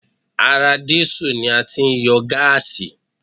Ara dísù ni a ti ń yọ gáàsì